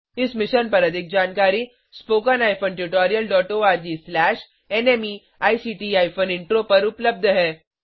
इस मिशन पर अधिक जानकारी httpspoken tutorialorgNMEICT इंट्रो पर उपलब्ध है